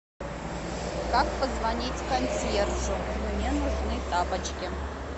как позвонить консьержу мне нужны тапочки